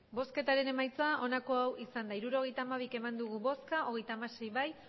hirurogeita hamabi eman dugu bozka hogeita hamasei bai